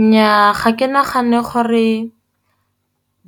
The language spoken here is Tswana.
Nnyaa, ga ke nagane gore